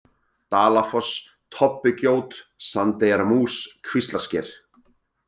Dalafoss, Tobbugjót, Sandeyjarmús, Kvíslarsker